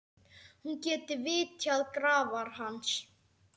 Hún geti vitjað grafar hans.